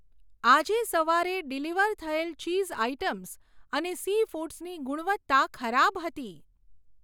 આજે સવારે ડિલિવર થયેલ ચીઝ આઇટમ્સ અને સીફૂડ્સની ગુણવત્તા ખરાબ હતી.